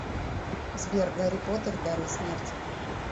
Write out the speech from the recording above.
сбер гарри поттер дары смерти